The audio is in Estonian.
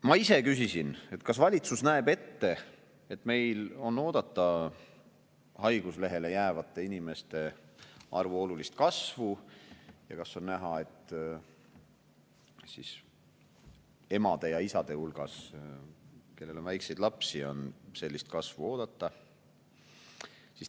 Ma ise küsisin, kas valitsus näeb ette, et meil on oodata haiguslehele jäävate inimeste arvu olulist kasvu, ja kas on näha, et emade ja isade hulgas, kellel on väikseid lapsi, on sellist kasvu oodata.